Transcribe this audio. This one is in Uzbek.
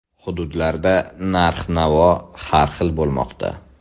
Hududlarda narx-navo har xil bo‘lmoqda.